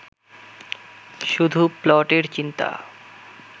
শুধু প্লটের চিন্তা